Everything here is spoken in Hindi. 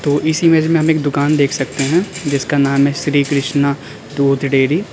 इस इमेज में हम एक दुकान देख सकते हैं जिसका नाम है श्री कृष्णा दूध डेरी --